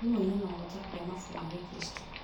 Thimũ-inĩ noũhote kũgĩa mabuku ma gĩkristo